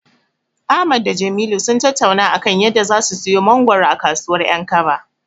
Ahmad da Jamilu sun tattauna a kan yadda zasu siyo mangoro a kasuwar 'yankaba.